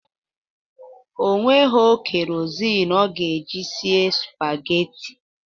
O nwegho kerozịn ọ ga-eji sie spageti